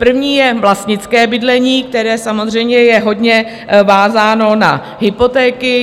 První je vlastnické bydlení, které samozřejmě je hodně vázáno na hypotéky.